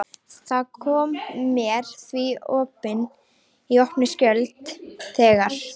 Það kom mér því í opna skjöldu þegar